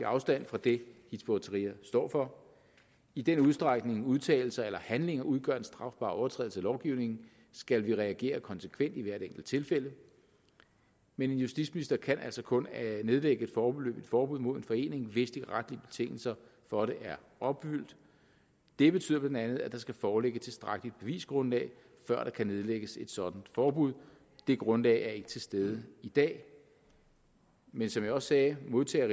afstand fra det hizb ut tahrir står for i den udstrækning udtalelser eller handlinger udgør en strafbar overtrædelse af lovgivningen skal vi reagere konsekvent i hvert enkelt tilfælde men en justitsminister kan altså kun nedlægge et foreløbigt forbud mod en forening hvis de retlige betingelser for det er opfyldt det betyder bla at der skal foreligge et tilstrækkeligt bevisgrundlag før der kan nedlægges et sådant forbud det grundlag er ikke til stede i dag men som jeg også sagde modtager